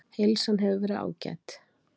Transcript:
Heilsan hefur verið ágæt